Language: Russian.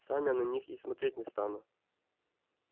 сам я на них и смотреть не стану